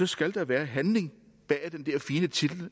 skal der være handling bag den der fine titel